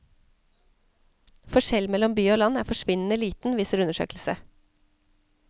Forskjell mellom by og land er forsvinnende liten, viser undersøkelse.